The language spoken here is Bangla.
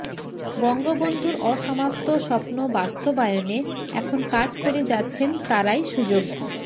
বঙ্গবন্ধুর অসমাপ্ত স্বপ্ন বাস্তবায়নে এখন কাজ করে যাচ্ছেন তারই সুযোগ্য